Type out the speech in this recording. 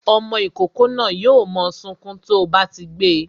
Ọmọ ìkókó náà yo mo sunkún to bá ti gbé e